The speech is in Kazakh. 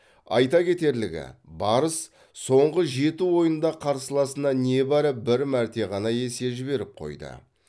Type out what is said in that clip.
айта кетерлігі барыс соңғы жеті ойында қарсыласына небәрі бір мәрте ғана есе жіберіп қойды